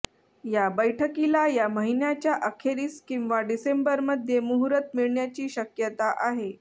या बैठकीला या महिन्याच्या अखेरीस किंवा डिसेंबरमध्ये मुहूर्त मिळण्याची शक्यता आहे